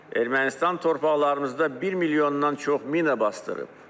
Ermənistan torpaqlarımızda bir milyondan çox mina basdırıb.